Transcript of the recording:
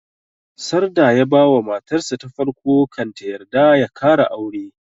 Sarda ya ba wa matar sa ta farko kan ta yarda ya kara aure